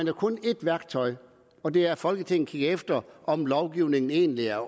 jo kun et værktøj og det er at folketinget kigger efter om lovgivningen egentlig er